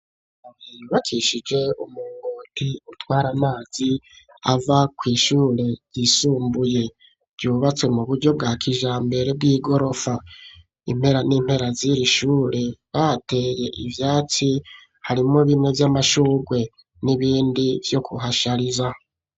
Bakishije umugoti utwara amazi ava kw' ishure yisumbuye ryubatswe mu buryo bwa kijambere bw'igorofa impera n'impera ziri ishure batehaye ivyatsi harimwo bine vy'amashugwe n'ibindi vyo kuhashariza.